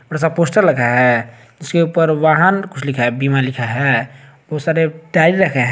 सा पोस्टर लगा है उसके ऊपर वाहन कुछ लिखा है बीमा लिखा है बहुत सारे टाइल रखे है।